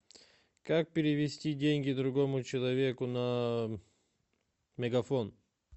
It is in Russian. как перевести деньги другому человеку на мегафон